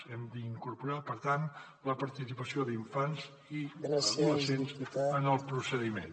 hem d’incorporar per tant la participació d’infants i adolescents en el procediment